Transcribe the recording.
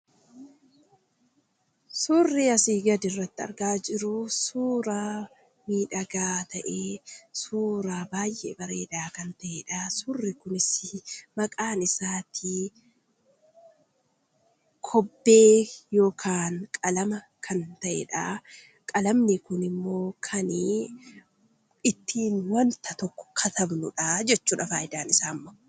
Suurri asii gadirratti argaa jirru suuraa miidhagaa ta'ee suuraa baay'ee bareedaa kan ta'edha. Maqaan isaa kobbee yookaan qalama kan ta'edha. Qalamni kun kan ittiin waan tokko katabnudha jechuudha fayidaan isaammoo.